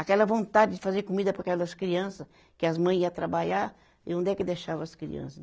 Aquela vontade de fazer comida para aquelas criança, que as mãe ia trabalhar, e onde é que deixava as criança?